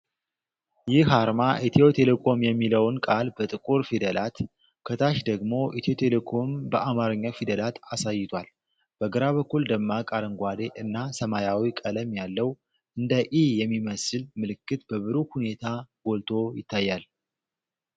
ይህ አርማ ethio telecom የሚለውን ቃል በጥቁር ፊደላት፣ ከታች ደግሞ "ኢትዮ ቴሌኮም" በአማርኛ ፊደላት አሳይቷል። በግራ በኩል ደማቅ አረንጓዴ እና ሰማያዊ ቀለም ያለው፣ እንደ "e" የሚመስል ምልክት በብሩህ ሁኔታ ጎልቶ ይታያል።